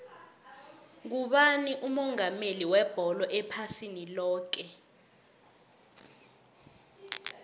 ngubani umongameli webholo ephasini loke